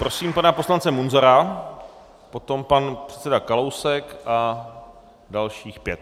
Prosím pana poslance Munzara, potom pan předseda Kalousek a dalších pět.